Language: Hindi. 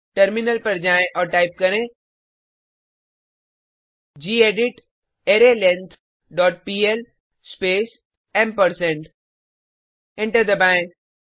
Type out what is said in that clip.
टर्मिनल पर जाएँ और टाइप करें gedit arraylength dot PL space ampersand enter दबाएँ